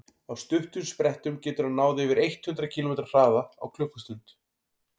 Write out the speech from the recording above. á stuttum sprettum getur hann náð yfir eitt hundruð kílómetri hraða á klukkustund